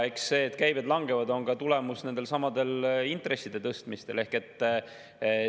See, et käibed langevad, on nendesamade intresside tõstmise tulemus.